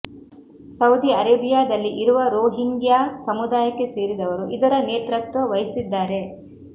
Saudi ಅರೇಬಿಯಾದಲ್ಲಿ ಇರುವ Rohingya ಸಮುದಾಯಕ್ಕೆ ಸೇರಿದವರು ಇದರ ನೇತೃತ್ವ ವಹಿಸಿದ್ದಾರೆ